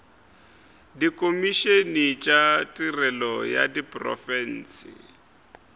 dikhomišene tša tirelo ya diprofense